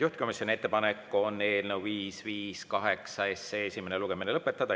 Juhtivkomisjoni ettepanek on eelnõu 558 esimene lugemine lõpetada.